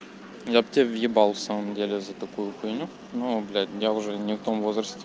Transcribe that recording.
я б тебе въебал в самом деле за такую хуйню ну блять я уже не в том возрасте